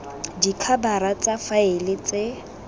b dikhabara tsa faele tse